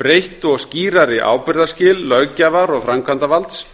breytt og skýrari ábyrgðarskil löggjafar og framkvæmdarvalds